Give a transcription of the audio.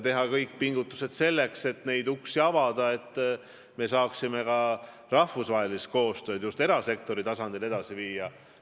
Tuleb pingutada, et uksi avada, et me saaksime rahvusvahelist koostööd just erasektori tasandil edasi viia.